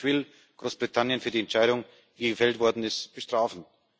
Kein Mensch will Großbritannien für die Entscheidung, die gefällt worden ist, bestrafen.